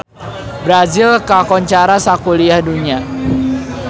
Brazil kakoncara sakuliah dunya